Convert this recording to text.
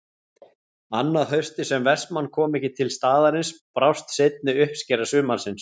Annað haustið sem Vestmann kom ekki til staðarins brást seinni uppskera sumarsins.